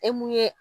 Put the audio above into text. E mun ye